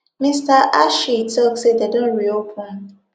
mr hashi tok say dem don reopen